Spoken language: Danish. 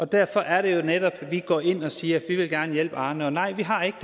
derfor er det netop vi går ind og siger at vi gerne vil hjælpe arne og nej vi har ikke